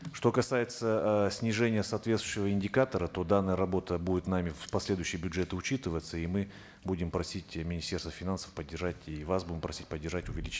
что касается э снижения соответствующего индикатора то данная работа будет нами в последующие бюджеты учитываться и мы будем просить министерство финансов поддержать и вас будем просить поддержать